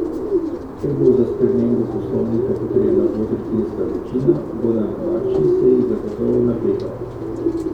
Ker bo za spremembo poslovnika potrebna dvotretjinska večina, bo na marčni seji zagotovo napeto.